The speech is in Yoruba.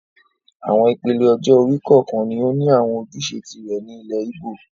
Àwọn ìpele ọjọ́-orí kọ̀ọ̀kan ni ó ní àwọn ojúṣe tìrẹ ní ilẹ̀ Ìgbò